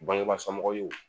Bangeba somɔgɔniw ye